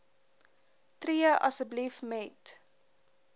tree asseblief met